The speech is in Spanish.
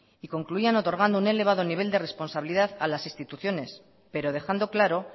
y concluían otorgando un elevado nivel de responsabilidad a las instituciones pero dejando claro